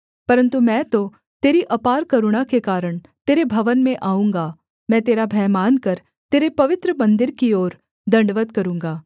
परन्तु मैं तो तेरी अपार करुणा के कारण तेरे भवन में आऊँगा मैं तेरा भय मानकर तेरे पवित्र मन्दिर की ओर दण्डवत् करूँगा